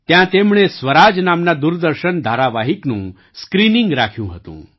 ત્યાં તેમણે સ્વરાજ નામના દૂરદર્શન ધારાવાહિકનું સ્ક્રીનિંગ રાખ્યું હતું